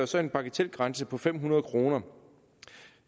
så en bagatelgrænse på fem hundrede kroner